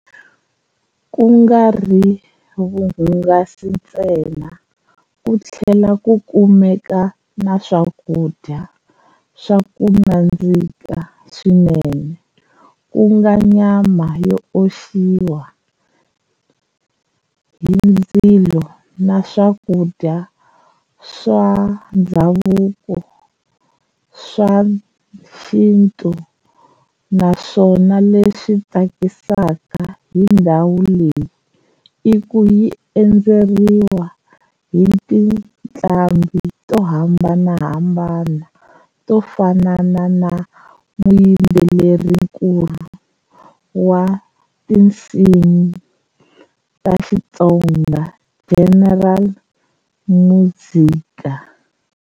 Ku ngari vuhungasi tsena ku thlela ku kumeka na swakudya swaku nandziha swinene kunga nyama yo oxiwa hi ndzilo na swakudya swa ndhavuko swa xintu, na swona leswi tsakisaka hi ndhawu leyi iku yi endzeriwa hiti ntlambi to hambanahambana to fanana na muyimbeleri nkulu wa tinsimi ta Xitsonga General Muzka.